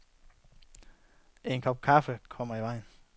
En kop kaffe kommer i vejen.